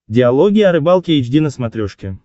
диалоги о рыбалке эйч ди на смотрешке